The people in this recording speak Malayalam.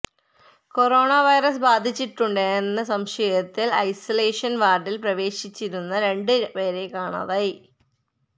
കൊറോണ വൈറസ് ബാധിച്ചിട്ടുണ്ടെന്ന് സംശയത്തില് ഐസൊലേഷന് വാര്ഡില് പ്രവേശിപ്പിച്ചിരുന്ന രണ്ട് പേരെ കാണാതായി